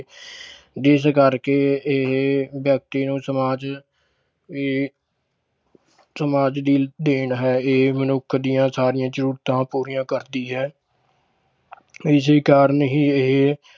ਜਿਸ ਕਰਕੇ ਇਹ ਵਿਅਕਤੀ ਨੂੰ ਸਮਾਜ ਵੀ ਸਮਾਜ ਦੀ ਦੇਣ ਹੈ ਇਹ ਮਨੁੱਖ ਦੀਆਂ ਸਾਰੀਆਂ ਜ਼ਰੂਰਤਾਂ ਪੂਰੀਆਂ ਕਰਦੀ ਹੈ ਇਸੇ ਕਾਰਨ ਹੀ ਇਹ